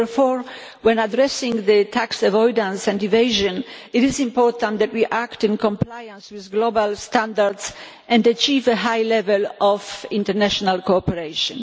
Therefore, when addressing tax avoidance and evasion, it is important that we act in compliance with global standards and achieve a high level of international cooperation.